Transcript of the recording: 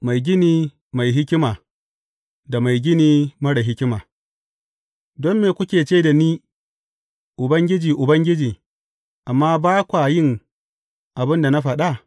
Mai gini mai hikima da mai gini marar hikima Don me kuke ce da ni, Ubangiji, Ubangiji,’ amma ba kwa yin abin da na faɗa?